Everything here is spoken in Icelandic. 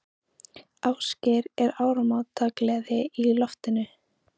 Ásgeir, er áramótagleði í loftinu?